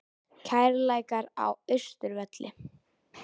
Kærleikar á Austurvelli